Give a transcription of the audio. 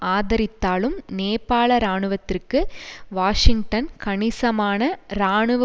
ஆதரித்தாலும் நேபாள இராணுவத்திற்கு வாஷிங்டன் கணிசமான இராணுவ